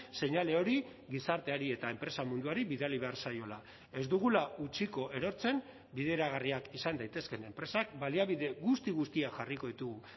seinale hori gizarteari eta enpresa munduari bidali behar zaiola ez dugula utziko erortzen bideragarriak izan daitezkeen enpresak baliabide guzti guztiak jarriko ditugu